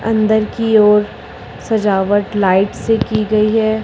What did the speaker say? अंदर की ओर सजावट लाइट से की गई है।